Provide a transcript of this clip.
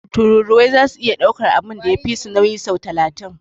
Tururuwai zasu iya daukan abun da ya fisu nauyi sau talatin.